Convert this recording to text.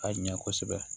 Ka ɲɛ kosɛbɛ